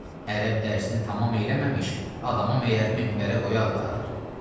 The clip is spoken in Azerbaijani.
Ərəb dərsini tamam eləməmiş adamı məyər minbərə qoyarlar?